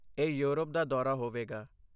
ਇਹ ਯੂਰਪ ਦਾ ਦੌਰਾ ਹੋਵੇਗਾ।